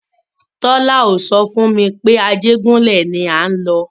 Tọ́la ò so fún mi pé Ajégúnlẹ̀ ni à ń lọ.